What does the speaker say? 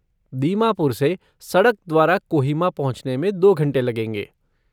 दीमापुर से सड़क द्वारा कोहिमा पहुँचने में दो घंटे लगेंगे।